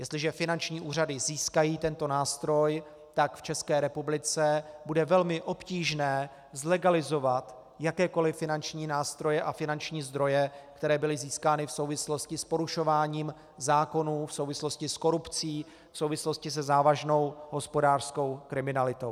Jestliže finanční úřady získají tento nástroj, tak v České republice bude velmi obtížné zlegalizovat jakékoliv finanční nástroje a finanční zdroje, které byly získány v souvislosti s porušováním zákonů, v souvislosti s korupcí, v souvislosti se závažnou hospodářskou kriminalitou.